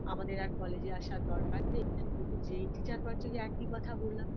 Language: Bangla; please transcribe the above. আমাদের আর college - এ আসার দরকার নেই কিন্তু যে teacher পড়াচ্ছে ঐ একই কথা বললাম